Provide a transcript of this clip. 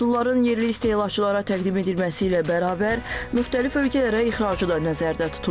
Məhsulların yerli istehlakçılara təqdim edilməsi ilə bərabər müxtəlif ölkələrə ixracı da nəzərdə tutulur.